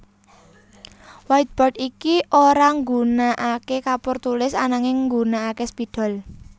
Whiteboard iki ora nggunakaké kapur tulis ananging nggunakaké spidol